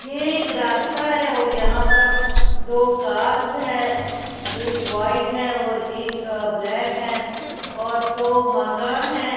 ये एक रास्ता है और यहां पर दो कार्ज है एक व्हाइट है और एक ब्लैक है और दो मकान हैं।